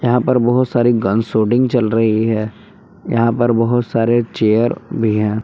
यहां पर बहुत सारी गन शूटिंग चल रही है यहां पर बहोत सारे चेयर भी हैं।